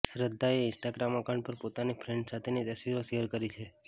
શ્રદ્ધાએ Instagram account પર પોતાની friends સાથેની તસવીરો શેર કરી છે